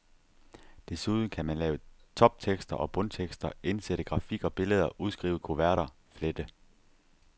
Desuden kan man lave toptekster og bundtekster, indsætte grafik og billeder, udskrive kuverter, flette.